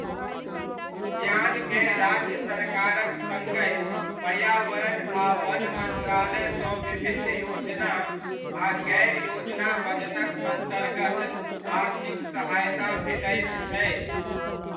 उद्यानकेँ राज्य सरकारक सङ्गहि पर्यावरण आ वन मन्त्रालयसँ विभिन्न योजना आ गैर योजना बजटक अन्तर्गत आर्थिक सहायता भेटैत छै।